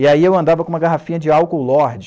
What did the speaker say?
E aí eu andava com uma garrafinha de álcool Lorde.